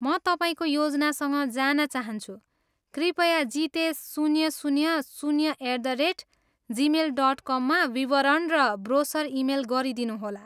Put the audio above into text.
म तपाईँको योजनासँग जान चाहन्छु, कृपया जितेस शून्य, शून्य, शून्य at the rate Gmail dot कममा विवरण र ब्रोसर इमेल गरिदिनुहोला।